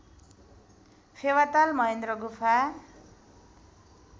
फेवाताल महेन्द्र गुफा